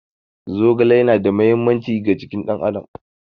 Zogale yana da matuƙar mahimmanci ga jikin ɗan adam